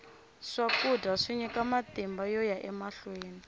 swakudya swi nyika matimba yoya emahlweni